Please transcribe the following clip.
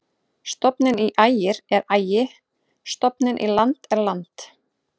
Stofninn í Ægir er Ægi-, stofninn í land er land.